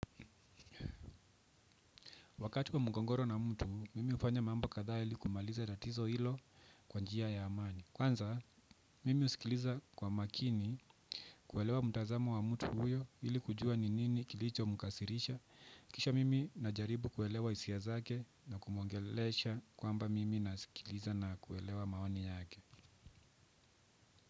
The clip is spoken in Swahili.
Wakati wa mkongoro na mtu, mimi hufanya mambo kadha ili kumaliza tatizo hilo kwa njia ya amani. Kwanza, mimi husikiliza kwa makini kuelewa mtazamo wa mtu huyo ili kujua ni nini kilicho mkasirisha. Kisha mimi na jaribu kuelewa hisia zake na kumwongelesha kwamba mimi nasikiliza na kuelewa maoni yake.